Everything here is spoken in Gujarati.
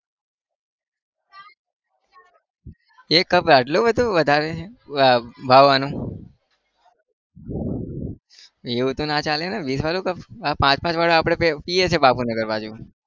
એક cup એ આટલો બધો વધારે है ભાવ આનો? એવું તો ના ચાલેને વીસ cup પાંચ પાંચવાળા આપણે બે પિએ છે બાપુનગર બાજુ.